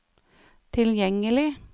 tilgjengelig